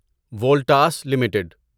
Voltas limited